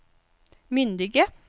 myndige